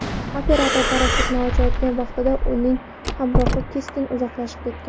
Operator parashyutini ochgan vaqtda, uning hamrohi keskin uzoqlashib ketgan.